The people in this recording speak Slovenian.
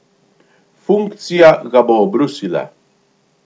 Funkcija ga bo obrusila.